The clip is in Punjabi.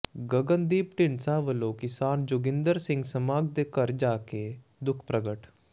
ਗਗਨਦੀਪ ਢੀਂਡਸਾ ਵਲੋਂ ਕਿਸਾਨ ਜੋਗਿੰਦਰ ਸਿੰਘ ਸਮਾਘ ਦੇ ਘਰ ਜਾ ਕੇ ਦੁੱਖ ਪ੍ਰਗਟ